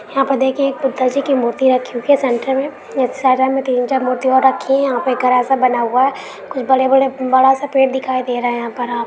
यहाँ पे देखिये एक पुतल जी की मूर्ति रखी हुई है सेंटर में। एक साइड में तीन चार मूर्ति और रखी हैं। यहाँ पे के घरा सा बना हुआ है। कुछ बड़े बड़े बड़ा सा पेड़ दिखाई दे रहा है। यहाँ पर आप --